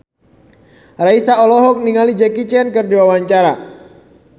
Raisa olohok ningali Jackie Chan keur diwawancara